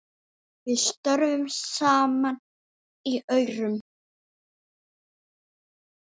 Við störfum saman í Aurum.